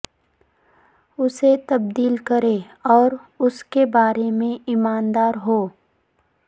اسے تبدیل کریں اور اس کے بارے میں ایماندار ہو